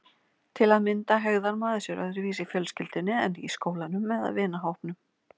Til að mynda hegðar maður sér öðruvísi í fjölskyldunni en í skólanum eða vinahópnum.